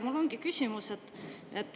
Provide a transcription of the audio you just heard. Mul ongi küsimus.